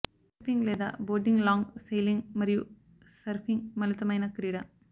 windsurfing లేదా boarding long sailing మరియు surfing మిళితమైన క్రీడ